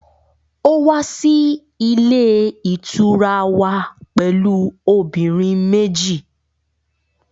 Ó wá sí ilé ìtura wa pẹ̀lú obìnrin méjì